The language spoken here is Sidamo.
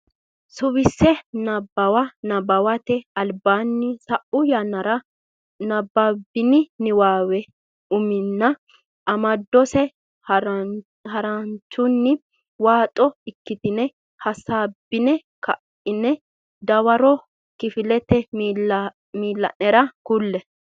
Suwise Nabbawa Nabbawate Albaanni Sa u yannara nabbabbini niwaawe umonna amadose haranchunni waaxo ikkitine hasaabbine ka ine dawaro kifilete miilla nera kulle.